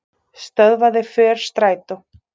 Stöðvaði för strætó